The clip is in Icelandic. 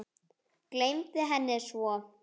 Gleymdi henni svo.